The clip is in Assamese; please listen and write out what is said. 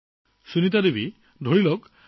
সেইদিনা আপুনি তালৈ যোৱাৰ প্ৰথম দিন আছিল